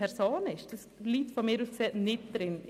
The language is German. Das liegt aus meiner Sicht nicht drin.